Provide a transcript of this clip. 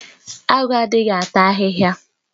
Agu adịghị ata ahịhịa